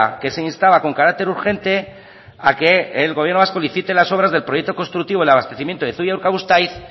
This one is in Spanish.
que ese instaba con carácter urgente a que el gobierno vasco licite las obras del proyecto constructivo del abastecimiento de zuia urkabustaiz